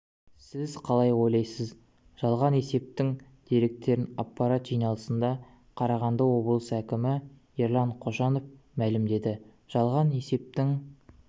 сіз қалай ойлайсыз жалған есептің деректерін аппарат жиналысында қарағанды облысы әкімі ерлан қошанов мәлімдеді жалған есептің